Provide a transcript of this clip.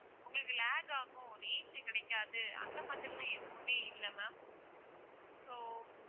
உங்களுக்கு lag ஆகும் range கிடைக்காது அந்த மாதிரி எல்லாம் எதுவுமே இல்ல ma'am so